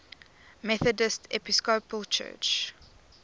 methodist episcopal church